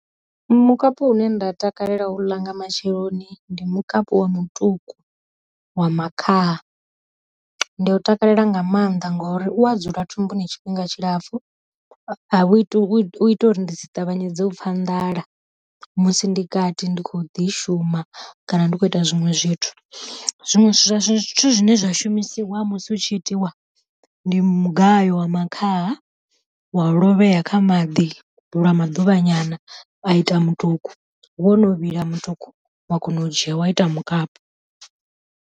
Mukapu une nda takalela u u ḽa nga matsheloni ndi mukapu wa mutuku wa makhaha, ndi u takalela nga maanḓa ngori u a dzula thumbuni tshifhinga tshilapfu, awu iti u ita uri ndi si ṱavhanyedzo u pfha nḓala musi ndi kati ndi kho ḓi shuma kana ndi kho ita zwinwe zwithu. Zwiṅwe zwithu zwine zwa shumisiwa musi u tshi itiwa ndi mugayo wa makhaha wa lovhea kha maḓi lwa maḓuvha nyana wa ita mutuku, wo no vhila mutuku wa kona u dzhia wa ita mukapi.